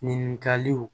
Ɲininkaliw